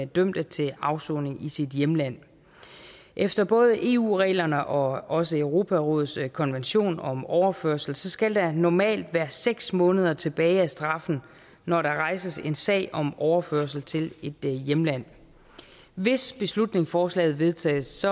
dømte til afsoning i sit hjemland efter både eu reglerne og også europarådets konvention om overførsel skal der normalt være seks måneder tilbage af straffen når der rejses en sag om overførsel til et hjemland hvis beslutningsforslaget vedtages